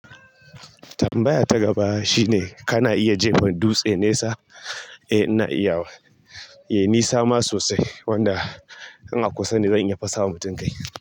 Tambaya ta gaba shine kana iya jefa dutse nesa? Eh ina iyawa. Eh yayi nisa ma sosai wanda in a kusa ne zan iya fasawa mutum kai.